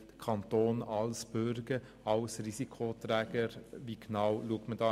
Der Kanton als Büge, als Risikoträger – wie genau sieht man hin?